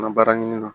An ka baara ɲini na